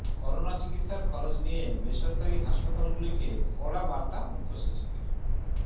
corona চিকিৎসার খরচ নিয়ে বেসরকারি হাসপাতালগুলিকে কড়া বার্তা মুখ্যসচিবের